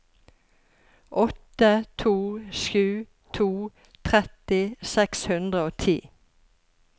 åtte to sju to tretti seks hundre og ti